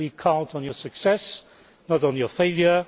We count on your success, not on your failure.